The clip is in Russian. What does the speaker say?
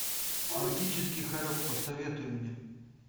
логический хорек посоветуй мне